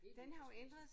Helt ud til spidsen